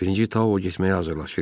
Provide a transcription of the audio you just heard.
Birinci Ta o getməyə hazırlaşırdı.